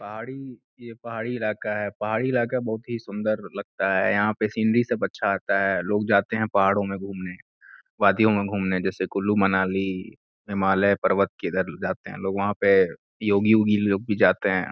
पहाड़ी ये पहाड़ी ईलाका है। पहाड़ी ईलाका बहोत ही सुन्दर लगता है। यहाँ पे सिन्धी सब अच्छा आता है। लोग जाते हैं पहाडो में घुमने वादियों में घुमने। जैसे कुलु मनाली हिमालय पर्वत किधर जाते है लोग। वहाँ पे योगी ओगी लोग भी जाते हैं।